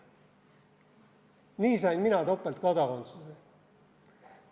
Nii sain mina topeltkodakondsuse.